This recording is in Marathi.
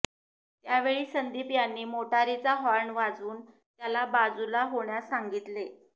त्यावेळी संदीप यांनी मोटारीचा हॉर्न वाजवून त्याला बाजूला होण्यास सांगितले